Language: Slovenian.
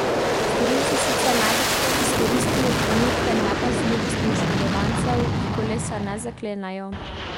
Storilci sicer največkrat izkoristijo trenutke nepazljivosti oškodovancev, ki kolesa ne zaklenejo.